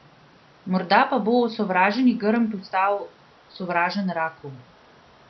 Morda pa bo osovraženi grm postal sovražen raku?